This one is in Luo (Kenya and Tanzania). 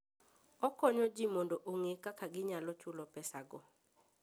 Okonyo ji mondo ong'e kaka ginyalo chulo pesago.